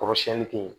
Kɔrɔsiyɛnni kɛ yen